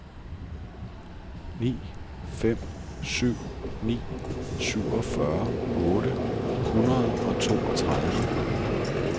ni fem syv ni syvogfyrre otte hundrede og toogtredive